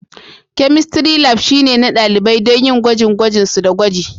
Chemistry Lab shine na ɗalibai don yin gwajin gwajin su da gwaji